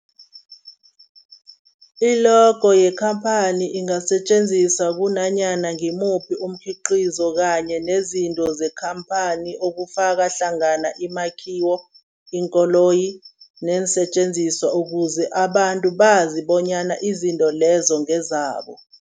I-logo yekhamphani ingasetjenziswa kunanyana ngimuphi umkhiqizo kanye nezinto zekhamphani okufaka hlangana imakhiwo, iinkoloyi neensentjenziswa ukuze abantu bazi bonyana izinto lezo ngezabo.